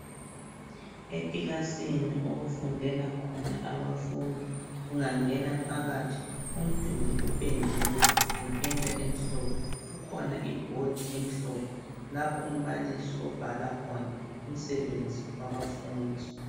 Ekilasini okufundela khona abafundi ungangena phakathi umduli upendiwe ngependa emhlophe kulebhodi emhlophe lapho umbalisi obhala khona umsebenzi wabafundi.